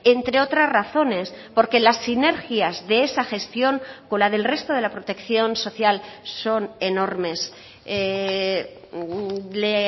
entre otras razones porque las sinergias de esa gestión con la del resto de la protección social son enormes le